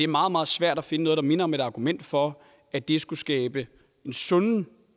meget meget svært at finde noget der minder om et argument for at det skulle skabe sunde